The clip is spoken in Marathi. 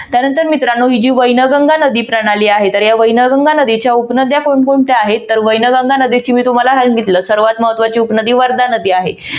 त्यानंतर मित्रानो ही जी वैनगंगा नदी प्रणाली आहे तर या वैनगंगा नदीच्या उपनद्या कोण कोणत्या आहेत तर वैनगंगा नदीची मी तुम्हाला सांगितलं सर्वात महत्वाची उपनदी वर्धा नदी आहे.